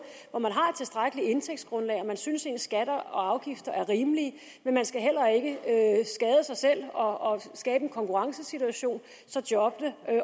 hvor man har et tilstrækkeligt indtægtsgrundlag og man synes ens skatter og afgifter er rimelige men man skal heller ikke skade sig selv og skabe en konkurrencesituation så jobbene